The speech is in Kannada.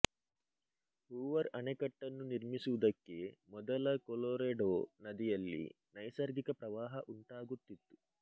ಹೂವರ್ ಅಣೆಕಟ್ಟನ್ನು ನಿರ್ಮಿಸುವುದಕ್ಕೆ ಮೊದಲ ಕೊಲೊರೆಡೊ ನದಿಯಲ್ಲಿ ನೈಸರ್ಗಿಕ ಪ್ರವಾಹ ಉಂಟಾಗುತ್ತಿತ್ತು